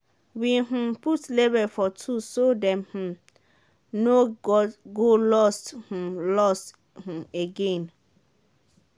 we um put label for tools so dem um no go lost um lost um again.